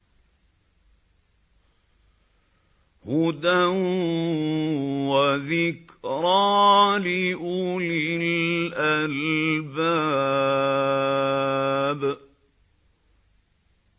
هُدًى وَذِكْرَىٰ لِأُولِي الْأَلْبَابِ